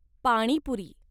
पाणी पुरी